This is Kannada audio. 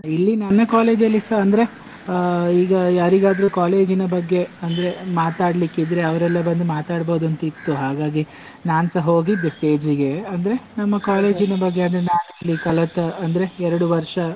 ಇಲ್ಲಿ ನನ್ನ college ಅಲ್ಲಿಸ ಅಂದ್ರೆ, ಆ ಈಗ ಯಾರಿಗಾದ್ರೂ college ಇನ ಬಗ್ಗೆ ಅಂದ್ರೆ ಮಾತಾಡ್ಲಿಕ್ಕೆ ಇದ್ರೆ ಅವರೆಲ್ಲ ಬಂದು ಮಾತಾಡ್ಬೋದು ಅಂತ ಇತ್ತು ಹಾಗಾಗಿ ನನ್ಸ ಹೋಗಿದ್ದೆ stage ಇಗೆ ಅಂದ್ರೆ ನಮ್ಮ ಬಗ್ಗೆ ನಾ ಅಲ್ಲಿ ಕಲಿತ ಅಂದ್ರೆ ಎರಡು ವರ್ಷ.